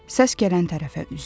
Səs gələn tərəfə üzdü.